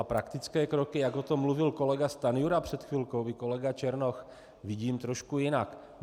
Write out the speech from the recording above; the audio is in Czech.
A praktické kroky, jak o tom mluvil kolega Stanjura před chvilkou, i kolega Černoch, vidím trošku jinak.